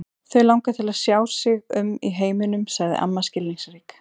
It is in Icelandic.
Þau langar til að sjá sig um í heiminum sagði amma skilningsrík.